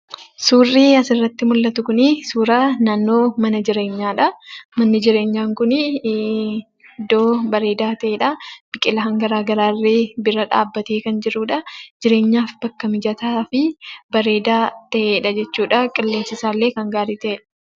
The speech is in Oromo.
Suurrii asirratti mullatu kunii suura naannoo mana jireenyaadhaa. Manni jireenyaa kunii iddoo bareedaa ta'edhaa. Biqilaan garaa garaallee bira dhaabbatee kan jirudhaa. Jireenyaaf bakka mijataa fi bareedaa ta'edha jechuudhaa. Qilleensi isaallee kan gaarii ta'edha.